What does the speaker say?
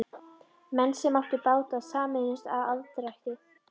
Menn sem áttu báta sameinuðust um aðdrætti.